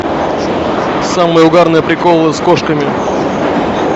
самые угарные приколы с кошками